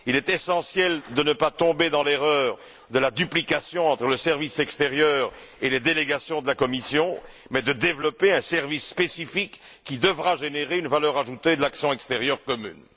Il est essentiel de ne pas tomber dans l'erreur de la duplication entre le service extérieur et les délégations de la Commission, mais de développer un service spécifique qui devra générer une valeur ajoutée de l'action extérieure commune.